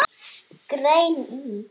Grein í